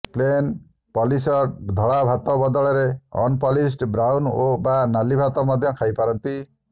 plane polished ଧଳା ଭାତ ବଦଳରେ ଅନପଲିସଡ଼ ବ୍ରାଉନ ବା ନାଲି ଭାତ ମଧ୍ୟ ଖାଇ ପାରନ୍ତି